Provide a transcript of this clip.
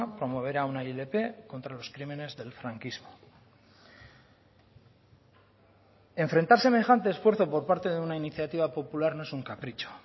promoverá una ilp contra los crímenes del franquismo enfrentar semejante esfuerzo por parte de una iniciativa popular no es un capricho